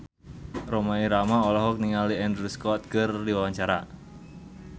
Rhoma Irama olohok ningali Andrew Scott keur diwawancara